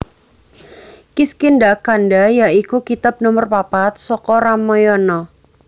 Kiskindhakanda ya iku kitab nomer papat saka Ramayana